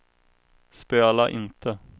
spela inte